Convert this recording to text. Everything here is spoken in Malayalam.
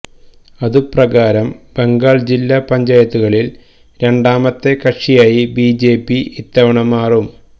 അതുപ്രകാരം ബംഗാളിൽ ജില്ല പഞ്ചായത്തുകളിൽ രണ്ടാമത്തെ കക്ഷിയായി ബിജെപി ഇത്തവണ മാറും